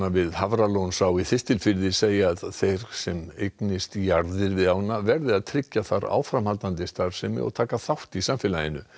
við Hafralónsá í Þistilfirði segja að þeir sem eignist jarðir við ána verði að tryggja þar áframhaldandi starfsemi og taka þátt í samfélaginu